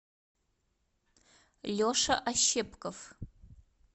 леша ощепков